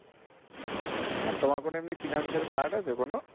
হ্যাঁ তোমার কোনো এমনি finance এর card আছে কোনো?